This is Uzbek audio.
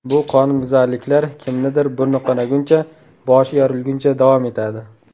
Bu qonunbuzarliklar kimnidir burni qonaguncha, boshi yorilguncha davom etadi.